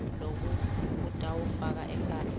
loku kutawufaka ekhatsi